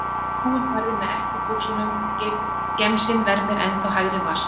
Frúin færði mig ekki úr buxunum og gemsinn vermir ennþá hægri vasa.